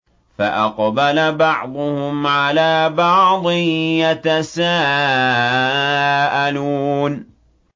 فَأَقْبَلَ بَعْضُهُمْ عَلَىٰ بَعْضٍ يَتَسَاءَلُونَ